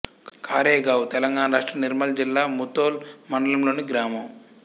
కారెగావ్ తెలంగాణ రాష్ట్రం నిర్మల్ జిల్లా ముధోల్ మండలంలోని గ్రామం